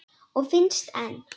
Og finnst enn.